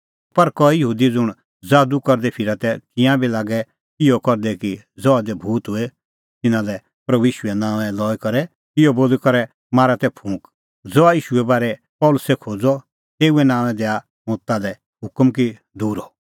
पर कई यहूदी ज़ुंण ज़ादू करदै फिरा तै तिंयां बी लागै तै इहअ करदै कि ज़हा दी भूत होए तिन्नां लै प्रभू ईशूओ नांओं लई करै इहअ बोली करै मारा तै फूंक ज़हा ईशूए बारै पल़सी खोज़ा तेऊए नांओंऐं दैआ हुंह ताल्है हुकम कि दूर हअ